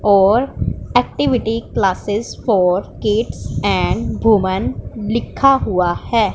और activity classes for kids and women लिखा हुआ है।